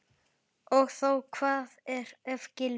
Og þó Hvað ef Gylfi.